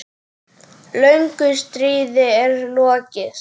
Löngu stríði er lokið.